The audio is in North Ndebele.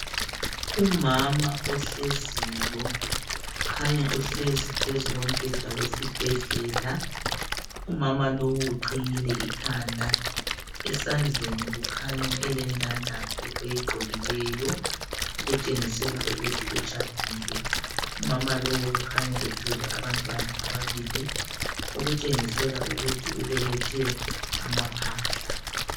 Umama ohleziyo kukhanya uhlezi phezu kombheda wesibhedlela. Umama lo uqhiyile ikhanda. Esandleni ukhanya elendandatho oyigqokileyo, okutshengisela ukuthi utshadile. Umama lo ukhanya ethwele abantwana ababili okutshengisela ukuthi ubelethe amaphahla.